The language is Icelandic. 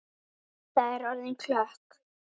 Edda er orðin klökk.